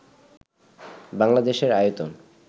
বাংলাদেশের আয়তন